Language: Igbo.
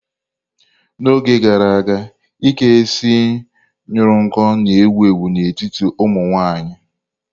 N'oge gara aga, ike isi ñuru nko na-ewu ewu n'etiti ụmụ nwanyị.